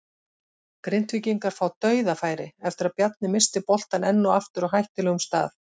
Grindvíkingar fá DAUÐAFÆRI eftir að Bjarni missti boltann enn og aftur á hættulegum stað!